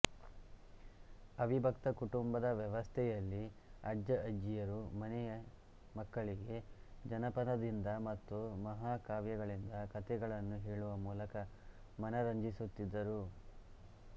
ಅವಿಭಕ್ತ ಕುಟುಂಬದ ವ್ಯವಸ್ಥೆಯಲ್ಲಿ ಅಜ್ಜ ಅಜ್ಜಿಯರು ಮನೆಯ ಮಕ್ಕಳಿಗೆ ಜನಪದ ದಿಂದ ಮತ್ತು ಮಹಾಕಾವ್ಯಗಳಿಂದ ಕಥೆಗಳನ್ನು ಹೇಳುವ ಮೂಲಕ ಮನರಂಜಿಸುತ್ತಿದ್ದರು